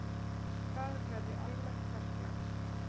Það verði almennt verklag.